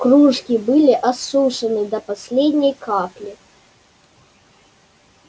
кружки были осушены до последней капли